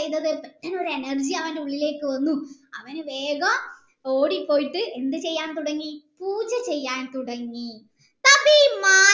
ചെയ്തത് പെട്ടന്നു ഒരു energy അവൻ്റെ ഉള്ളിലേക്കു വന്നു അവന് വേഗം ഓടിപോയിട്ട് എന്ത് ചെയ്യാൻ തുടങ്ങി പൂജ ചെയ്യാൻ തുടങ്ങി